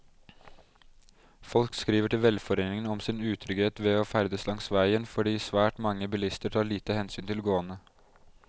Folk skriver til velforeningen om sin utrygghet ved å ferdes langs veien fordi svært mange bilister tar lite hensyn til gående.